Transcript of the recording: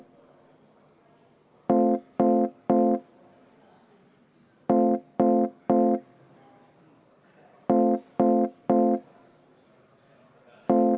Austatud Riigikogu!